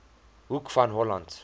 hoek van holland